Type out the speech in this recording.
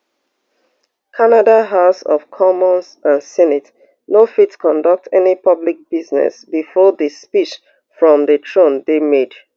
canada house of commons and senate no fit conduct any public business bifor di speech from di throne dey made